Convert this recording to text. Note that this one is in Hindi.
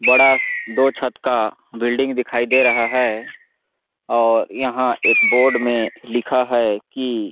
बड़ा-सा दो छत का बिल्डिंग दिखाई दे रहा है और यहाँ एक बोर्ड में लिखा है की--